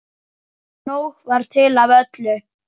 Nóg var til af öllu.